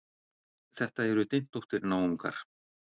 Þetta eru dyntóttir náungar.